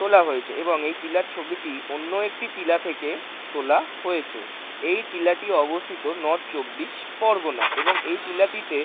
তোলা হয়েছে এবং এই টিলার ছবিটি অন্য একটি টিলা থেকে তোলা হয়েছে এই টিলাটি অবস্থিত নর্থ চব্বিশ পরগণায় এবং এই টিলাটিতে--